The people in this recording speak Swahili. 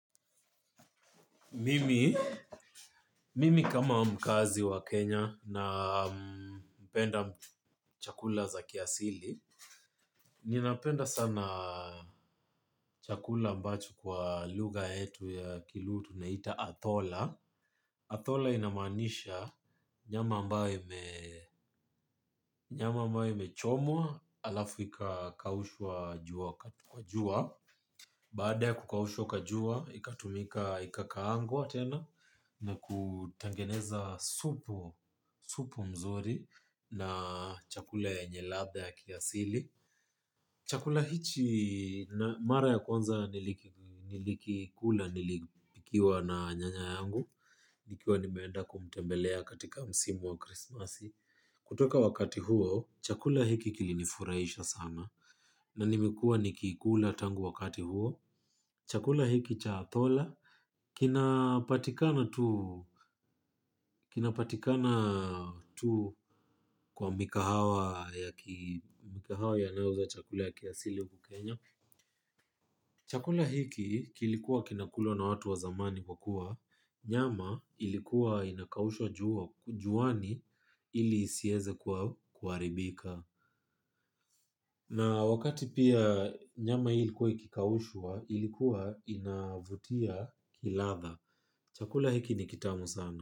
Mimi kama mkaazi wa Kenya napenda chakula za kiasili. Ninapenda sana chakula ambacho kwa lugha yetu ya kilu tunaita Athola, Athola inamaanisha nyama ambayo imechomwa alafu ikakaushwa kwa jua. Baada ya kukaushwa kwa jua, ikatumika, ikakaangwa tena na kutengeneza supu mzuri na chakula yenyel adha ya kiasili. Chakula hichi na mara ya kwanza nilikikula nikiwa na nyanya yangu. Nikiwa nimeenda kumtembelea katika msimu wa krismasi. Kutoka wakati huo, chakula hiki kilinifurahisha sana na nimekuwa nikikula tangu wakati huo. Chakula hiki cha athola. Kinapatikana tu kwa mikahawa yanayouza chakula ya kiasili huku kenya. Chakula hiki kilikuwa kinakulwa na watu wa zamani kwa kuwa. Nyama ilikuwa inakaushwa juani ilinisiweze kuharibika. Na wakati pia nyama hii likuwa ikikaushwa, ilikuwa inavutia kiladha. Chakula hiki ni kitamu sana.